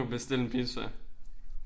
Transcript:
Bestil en pizza